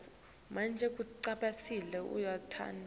kutsi bacale ngeluhlaka